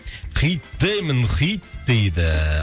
хит деймін хит дейді